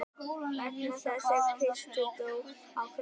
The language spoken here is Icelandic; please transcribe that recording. Vegna þess að Kristur dó á krossi.